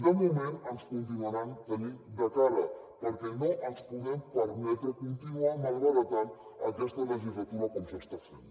de moment ens continuaran tenint de cara perquè no ens podem permetre continuar malbaratant aquesta legislatura com s’està fent